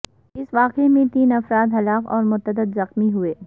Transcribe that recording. اس واقعہ میں تین افراد ہلاک اور متعدد زخمی ہوئے